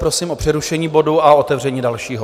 Prosím o přerušení bodu a otevření dalšího.